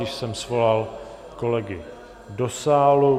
Již jsem svolal kolegy do sálu.